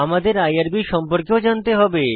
আমাদের আইআরবি সম্পর্কেও জানতে হবে